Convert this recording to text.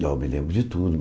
Eu me lembro de tudo